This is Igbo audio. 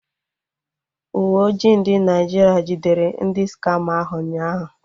Uwe ojii ndị Naịjirịa jidere ndị skama ahụ ụnyaahụ